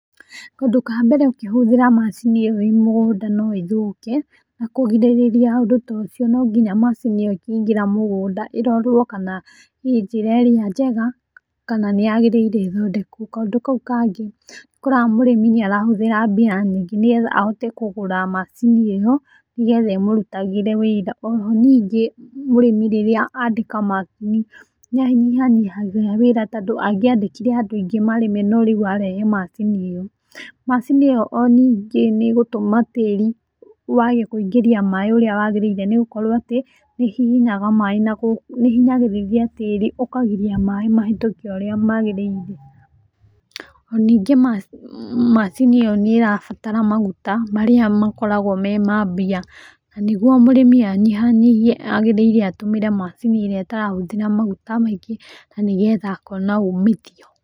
Kaũndũ ka mbere ũkĩhũthĩra macini ĩyo ĩĩ mũgũnda no ĩthũke. Na kũgirĩrĩria ũndũ ta ũcio no nginya macini ĩyo ĩkĩingĩra mũgũnda, ĩrorwo kana ĩĩ njĩra ĩrĩa njega, kana nĩ yagĩrĩire ĩthondekwo. Kaũndũ kau kangĩ nĩ ũkoraga mũrĩmi nĩ arahũthĩra mbia nyingĩ nĩgetha ahote kũgũra macini ĩyo, nĩgetha ĩmurutagĩre wĩra. Oho ningĩ mũrĩmi rĩrĩa andĩka macini, nĩ anyihanyihagia wĩra, tondũ angĩandĩkire andũ aingĩ marĩme no rĩu arehe macini ĩyo. Macini ĩyo o ningĩ nĩ ĩgũtũma tĩri wage kuingĩria maĩ ũrĩa wagĩrĩire, nĩ gũkorwo atĩ, nĩ ĩhihinyaga maĩ na nĩ ĩhinyagĩrĩria tĩri ũkagiria maĩ mahetũke ũrĩa magĩrĩire. Ona ningĩ macini ĩyo nĩ ĩrabatara maguta, marĩa makoragwo me ma mbia. Na nĩguo mũrĩmi anyihanyihie, agĩrĩire atũmĩre macini ĩrĩa ĩtarahũthrĩa maguta maingĩ na nĩgetha akona uumithio.